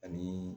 Ani